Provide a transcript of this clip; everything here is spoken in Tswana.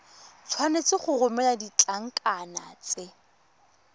tshwanetse go romela ditlankana tse